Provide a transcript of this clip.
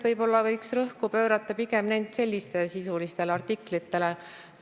Võib-olla võiks rõhku panna pigem sellistele sisulistele artiklitele.